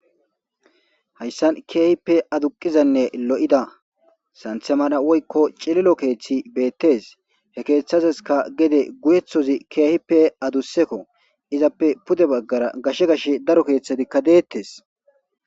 hayssan keehippe aduqizanne lo7ida santhe mana woykko cililo keeththi beettes he keeththazeska gede guyeththozi keehippe adussekko izappe pude baggara gashe gash daro keeththetikka deettes